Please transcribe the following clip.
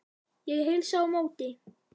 Ég heilsa á móti.